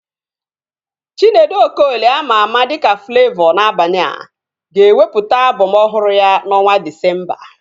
Chinedu Okoli ama ama dịka Flavọ N'abania, ga-ewepụta album ọhụrụ ya na ọnwa Disemba